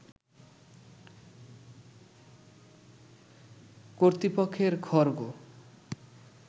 কর্তৃপক্ষের খড়গ